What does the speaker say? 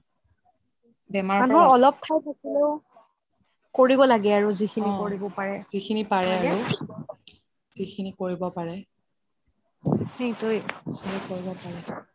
মানে অলপ খাই থাকিলেও কৰিব লাগে আৰু যিখিনি কৰিব পাৰে সেইটোয়েটো